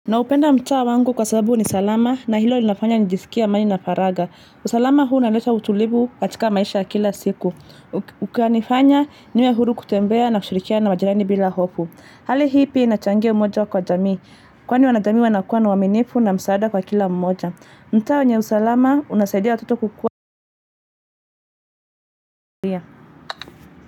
Naupenda mtaa wangu kwa sababu ni salama na hilo linafanya nijisikia amani na faraga. Usalama huu naleta utulivu katika maisha kila siku. Ukanifanya niwe huru kutembea na kushirikiana majirani bila hofu. Hali hii pia inachange umoja kwa jamii. Kwani wanajamii wanakuwa na uaminifu na msaada kwa kila mmoja. Mtaa wenye usalama unasaidia watoto kukua.